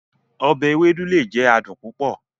Ọbẹ Ewedu le jẹ adun pupọ